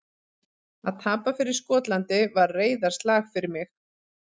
Að tapa fyrir Skotlandi var reiðarslag fyrir mig.